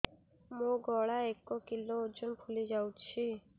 ମୋ ଗଳା ଏକ କିଲୋ ଓଜନ ଫୁଲି ଯାଉଛି